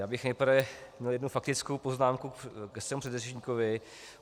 Já bych nejprve měl jednu faktickou poznámku ke svému předřečníkovi.